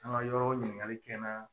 An ka yɔrɔ ɲininkali kɛ n na.